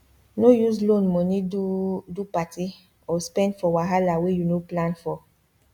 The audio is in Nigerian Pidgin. no use loan money do do party or spend for wahala wey you no plan for